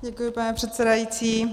Děkuji, pane předsedající.